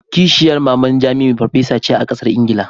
Kishiyar maman jamiu farfesa ce a kasar Ingila.